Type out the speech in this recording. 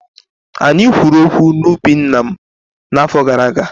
Anyị kwuru okwu na ubi nna m n'afọ gara aga.